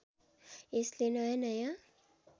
यसले नयाँ नयाँ